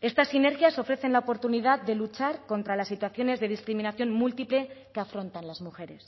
estas sinergias ofrecen la oportunidad de luchar contra las situaciones de discriminación múltiple que afrontan las mujeres